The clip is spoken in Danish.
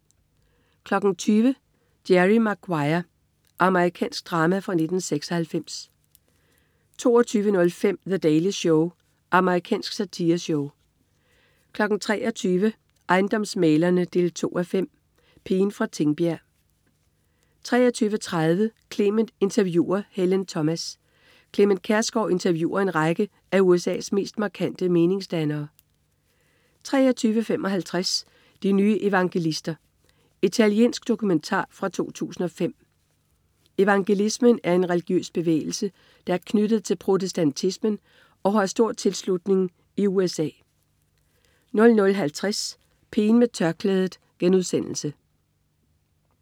20.00 Jerry Maguire. Amerikansk drama fra 1996 22.05 The Daily Show. Amerikansk satireshow 23.00 Ejendomsmæglere 2:5. Pigen fra Tingbjerg 23.30 Clement interviewer Helen Thomas. Clement Kjersgaard interviewer en række af USA's mest markante meningsdannere 23.55 De nye evangelister. Italiensk dokumentar fra 2005. Evangelismen er en religiøs bevægelse, der er knyttet til protestantismen og har stor tilslutning i USA 00.50 Pigen med tørklædet*